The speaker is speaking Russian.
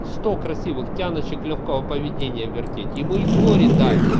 сто красивых тянущих лёгкого поведения вертеть ему и горе дай